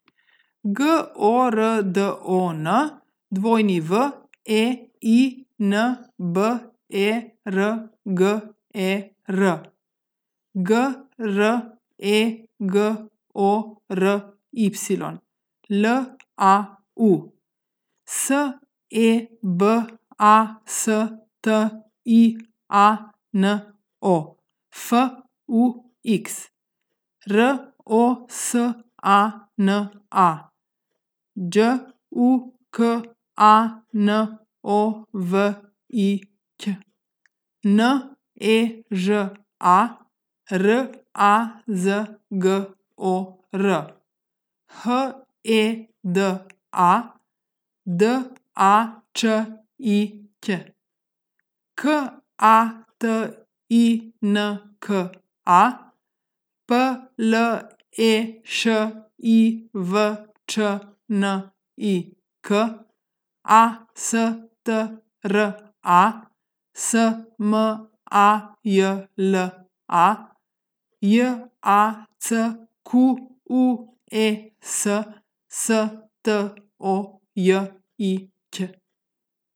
G O R D O N, W E I N B E R G E R; G R E G O R Y, L A U; S E B A S T I A N O, F U X; R O S A N A, Đ U K A N O V I Ć; N E Ž A, R A Z G O R; H E D A, D A Č I Ć; K A T I N K A, P L E Š I V Č N I K; A S T R A, S M A J L A; J A C Q U E S, S T O J I Ć.